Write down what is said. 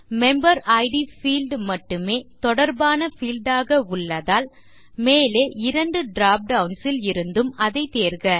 member id field மட்டுமே தொடர்பான field ஆக உள்ளதால் மேலே இரண்டு டிராப் டவுன்ஸ் ல் இருந்தும் அதை தேர்க